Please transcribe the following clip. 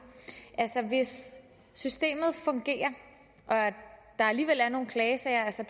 hvis systemet fungerer og der alligevel er nogle klagesager altså